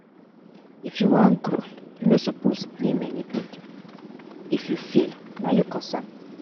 If you wan grow, you no suppose blame anybody if you fail na you cos am.